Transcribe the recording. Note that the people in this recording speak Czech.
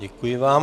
Děkuji vám.